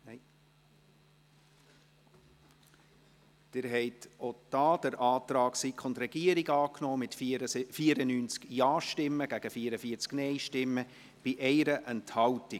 Sie haben auch hier den Antrag von SiK und Regierung angenommen, mit 94 Ja- zu 44 Nein-Stimmen bei 1 Enthaltung.